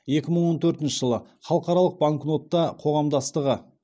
екі мың он төртінші жылы халықаралық банкнота қоғамдастығы